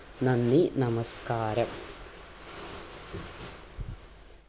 നന്ദി നമസ്‌കാരം